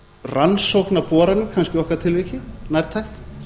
rannsókna boranir kannski í okkar tilliti nærtækt